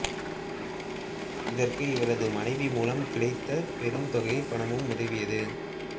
இதற்கு இவரது மனைவி மூலம் கிடைத்த பெரும் தொகைப் பணமும் உதவியது